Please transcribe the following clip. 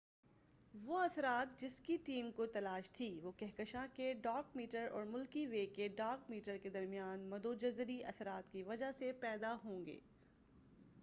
وہ اثرات جس کی ٹیم کو تلاش تھی وہ کہکشاں کے ڈارک میٹر اور ملکی وے کے ڈارک میٹر کے درمیان مدو جزری اثرات کی وجہ سے پیدا ہو رہے ہوں گے